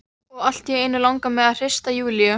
Og allt í einu langar mig til að hrista Júlíu.